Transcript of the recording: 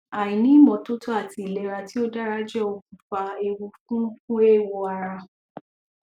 àìní ìmótótó àti ìlera tí ò dára jẹ okùnfà ewu fún fún eéwo ara